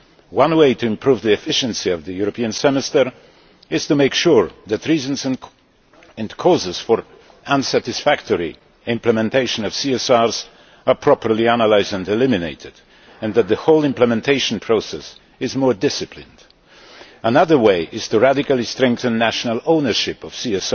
One way to improve the efficiency of the European Semester is to make sure that reasons and causes for unsatisfactory implementation of CSRs are properly analysed and eliminated and that the whole elimination process is more disciplined. Another way is to radically strengthen national ownership of CSRs